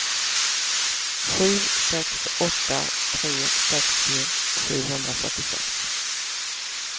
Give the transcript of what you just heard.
sju sex åtta tre sextio sjuhundrafyrtiosex